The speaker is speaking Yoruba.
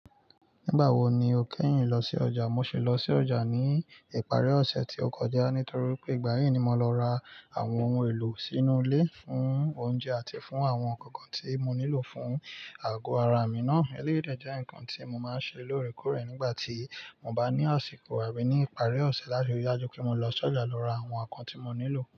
Nígbà wo ni o kẹ́yìn lọ sí ọjà? Mo sì lọ sí ọjà ní ìparí ọ̀sẹ̀ tí ó kọjá nítorí pé ìgbà yìí ni mo lọ ra àwọn ohun èlò sínú ilé fún oúnjẹ àti fún àwọn nǹkankan tí mo nílò fún àgọ́ ara mi náa. Eléyìí de jẹ́ nǹkan tí mo máa ń ṣe lóòrèkóòrè nígbà tí mo bá ní àsìkò àbí ní ìparí ọ̀sẹ̀ láti rí i dájú pé mo lọ sọ́jà lọ ra àwọn nǹkan tí mo nílò.